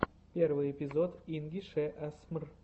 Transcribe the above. первый эпизод инги шэ асмр